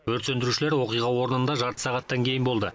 өрт сөндірушілер оқиға орнында жарты сағаттан кейін болды